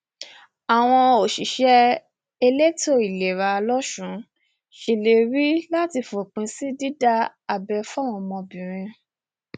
àwọn òṣìṣẹ elétò ìlera losùn ṣèlérí láti fòpin sí dídá abẹ fáwọn ọmọbìnrin